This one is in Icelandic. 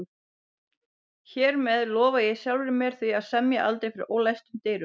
Hér með lofa ég sjálfri mér því að semja aldrei fyrir ólæstum dyrum